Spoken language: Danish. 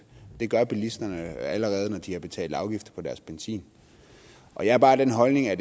det gør bilisterne allerede når de har betalt afgift på deres benzin og jeg er bare af den holdning at